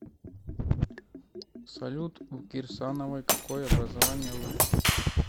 салют у кирсановой какое образование высшее